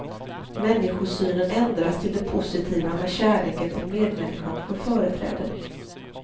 Människosynen ändras till det positiva, när kärleken till medmänniskan får företräde.